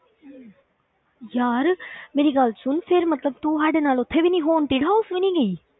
ਯਾਰ ਮੇਰੀ ਗੱਲ ਸੁਣ ਫਿਰ ਮਤਲਬ ਤੂੰ ਸਾਡੇ ਨਾਲ ਉੱਥੇ ਵੀ ਨੀ haunted house ਵੀ ਨੀ ਗਈ?